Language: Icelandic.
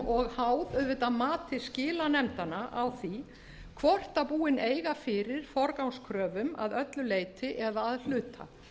og háð auðvitað mati skilanefndanna á því hvort búin eiga fyrir forgangskröfum að öllu leyti eða að hluta